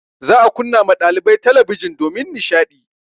Za a kunna ma ɗalibai talabijin domin nishaɗi.